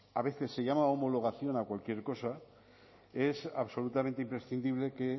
a veces se llama homologación a cualquier cosa es absolutamente imprescindible que